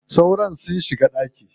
Sauron sun shiga ɗaki.